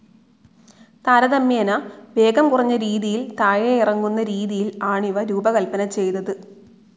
താരതമ്യേന വേഗം കുറഞ്ഞ രീതിയിൽ താഴെയിറങ്ങുന്ന രീതിയിൽ ആണിവ രൂപകൽപ്പന ചെയ്തത്.